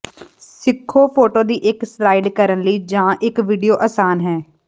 ਸਿੱਖੋ ਫੋਟੋ ਦੀ ਇੱਕ ਸਲਾਇਡ ਕਰਨ ਲਈ ਜ ਇੱਕ ਵੀਡੀਓ ਆਸਾਨ ਹੈ